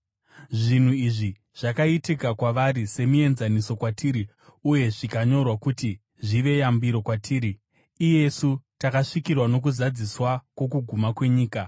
Zvinhu izvi zvakaitika kwavari semienzaniso kwatiri uye zvikanyorwa kuti zvive yambiro kwatiri, iyesu takasvikirwa nokuzadziswa kwokuguma kwenyika.